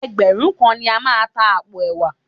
Ẹgbẹ̀rún kan ni a máa ta àpò ẹ̀wà